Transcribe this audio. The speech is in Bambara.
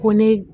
Ko ne